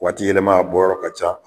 Waati yɛlɛma a bɔ yɔrɔ ka ca.